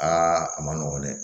Aa a ma nɔgɔn dɛ